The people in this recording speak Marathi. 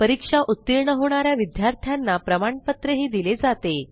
परीक्षा उतीर्ण होणा या विद्यार्थ्यांना प्रमाणपत्रही दिले जाते